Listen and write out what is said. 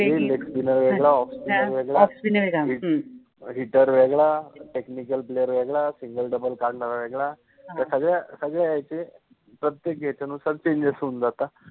leg spinner {spiner} वेगळा, off spinner {spiner} वेगळा, off spinner {spiner} वेगळा, ह्म्म, हिटर {hitter} वेगळा, टेक्निकल {technical} प्लेयर {player} वेगळा, single {singal} double {double} काढनारा वेगळा, त्या सगळ्या सगळ्या याचे प्रत्येक याचे नुसार चेंजस {changes} होउन जातय